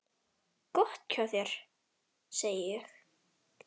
Gott hjá þér, segi ég.